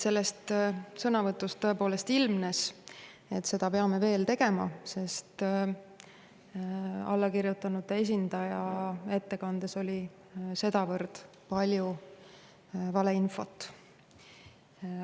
Sellest sõnavõtust tõepoolest ilmnes, et pean seda tegema, sest allakirjutanute esindaja ettekandes oli sedavõrd palju valeinfot.